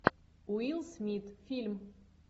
уилл смит фильм